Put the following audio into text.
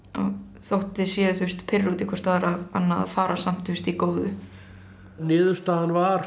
þótt þið séuð pirruð út í hvort að fara samt í góðu niðurstaðan var